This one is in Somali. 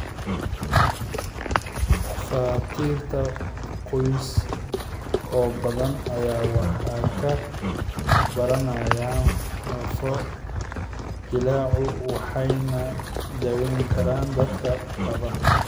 Dhakhaatiir qoys oo badan ayaa wax ka baranayay lafo-jileecu waxayna daweyn karaan dadka qaba.